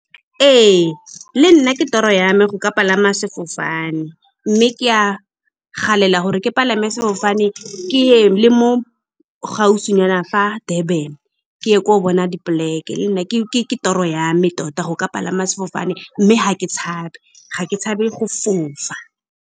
Ee, le nna ke toro ya me go ka palama sefofane, mme ke a galela gore ke palame sefofane keye le mo gaufinyana fa Durban, ke ye ko bona dipoleke. Le nna ke toro ya me tota go ka palama sefofane, mme ga ke tshabe, ga ke tshabe go fofa.